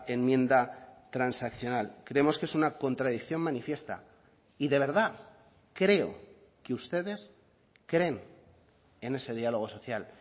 enmienda transaccional creemos que es una contradicción manifiesta y de verdad creo que ustedes creen en ese diálogo social